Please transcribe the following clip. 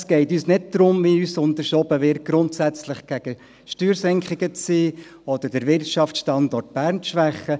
Es geht uns nicht darum – wie uns unterstellt wird –, grundsätzlich gegen Steuersenkungen zu sein oder den Wirtschaftsstandort Bern zu schwächen.